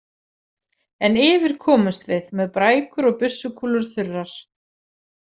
En yfir komumst við, með brækur og byssukúlur þurrar.